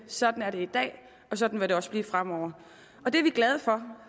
sådan er det i dag og sådan vil det også være fremover det er vi glade for